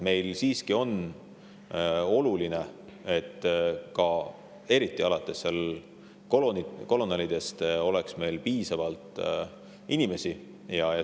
Meile siiski on oluline, et eriti alates kolonelidest oleks meil piisavalt inimesi.